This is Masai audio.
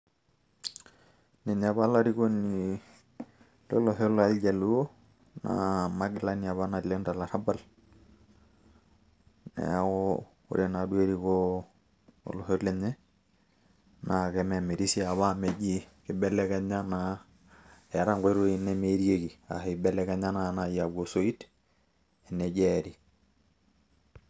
Ninye apa olarikoni lolosho loljaluo, na magilani apa naleng' tolarrabal. Neeku ore naduo erikoo olosho lenye, naa kememiri si apa amu meji kibelekenya naa eeta nkoitoi nemeerieki, ah kibelekenya na nai aaku osoit eneji eeri.